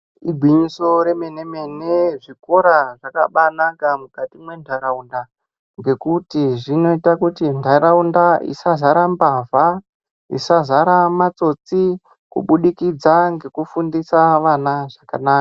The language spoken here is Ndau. Igwinyiso remene mene zvikora zvakabaanaka mukati mwenharaunda ngekuti zvinoita kuti nharaunda isazara mbavha, isazara matsotsi kubudikidza ngekufundisa ana zvakanaka.